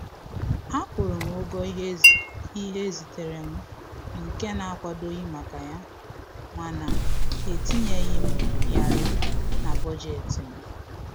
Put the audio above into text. Akwụrụ m ụgwọ ihe e ziteere m nke na-akwadoghị maka ya, mana e e tinyere m yarị na bọjetị m